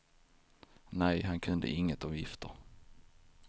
Nej, han kunde inget om gifter.